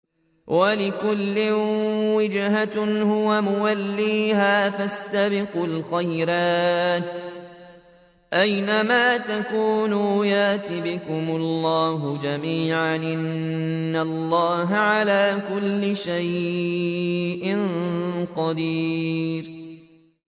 وَلِكُلٍّ وِجْهَةٌ هُوَ مُوَلِّيهَا ۖ فَاسْتَبِقُوا الْخَيْرَاتِ ۚ أَيْنَ مَا تَكُونُوا يَأْتِ بِكُمُ اللَّهُ جَمِيعًا ۚ إِنَّ اللَّهَ عَلَىٰ كُلِّ شَيْءٍ قَدِيرٌ